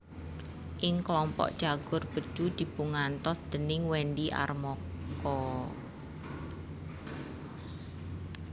Ing klompok Cagur Bedu dipungantos déning Wendy Armoko